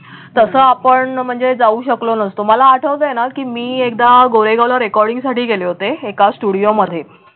तस आपण म्हणजे जाऊ शकलो नसतो मला आठवतंय ना की मी एकदा गोरेगाव ला recording साठी गेले होते एका studio मध्ये